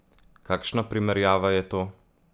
Kakšna primerjava je to?